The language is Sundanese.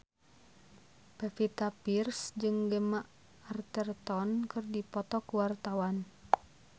Pevita Pearce jeung Gemma Arterton keur dipoto ku wartawan